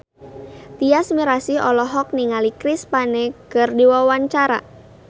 Tyas Mirasih olohok ningali Chris Pane keur diwawancara